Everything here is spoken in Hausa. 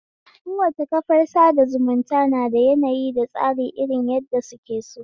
Kowace kafar sada zumunta nada yanayi da tsari irin yadda suke so